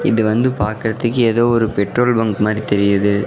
இது வந்து பாக்றத்துக்கு ஏதோ ஒரு பெட்ரோல் பங்க் மாறி தெரியிது.